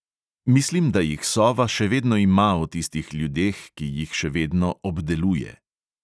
Mislim, da jih sova še vedno ima o tistih ljudeh, ki jih še vedno "obdeluje".